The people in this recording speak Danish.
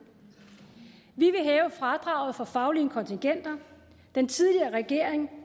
vi vil hæve fradraget for faglige kontingenter den tidligere regering